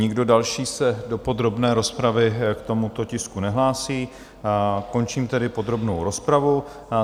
Nikdo další se do podrobné rozpravy k tomuto tisku nehlásí, končím tedy podrobnou rozpravu.